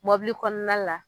Mɔbili kɔɔna la